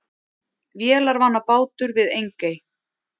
Vélarvana bátur við Engey